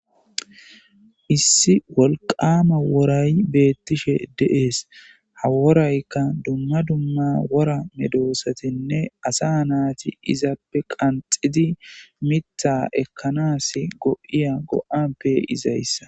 Issi wolqama woray beettishe deees haworaykka dumma dumma wora medoosatinne asa naati izappe qanxidi mitha ekkanas go7iya go7appe izayssa.